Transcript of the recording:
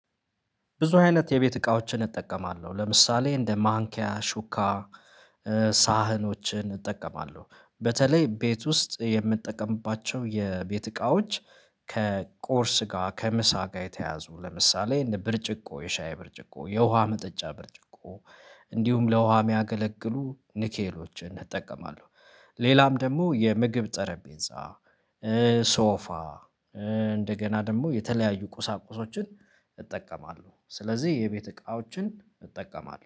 ብዙ አይነት የቤት እቃዎችን እጠቀማለሁ ለምሳሌ እንደ ማንኪያ ሹካ ሳህኖችን እጠቀማለሁ በተለይ ቤት ውስጥ የምጠቀምባቸው የቤት እቃዎች። ከቁርስ ጋር ከምሳ ጋር የተያያዙ ለምሳሌ እንደ ብርጭቆ የሻይ ብርጭቆ የውሃ መጠጫ ብርጭቆ እንዲሁም ለውሃ የሚያገለግሉ ንኬሎችን እጠቀማለሁ። ሌላም ደግሞ የምግብ ጠረጴዛ ሶፋ እንደገና ደግሞ የተለያዩ ቁሳቁሶችን እጠቀማለሁ ስለዚህ የቤት እቃዎችን እጠቀማለሁ